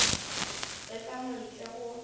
ge ka mo ntle go